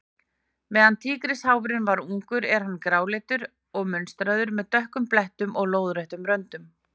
Meðan tígrisháfurinn er ungur er hann gráleitur og munstraður, með dökkum blettum og lóðréttum röndum.